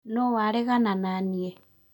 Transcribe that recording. Nũũ waregana naniĩ